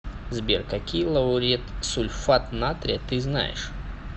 сбер какие лауретсульфат натрия ты знаешь